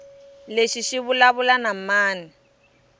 lexi xi vulavula na mani